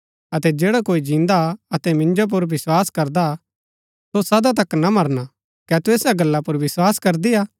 अतै जैडा कोई जिन्दा हा अतै मिन्जो पुर विस्वास करदा हा सो सदा तक ना मरणा कै तू ऐसा गला पुर विस्वास करदी हा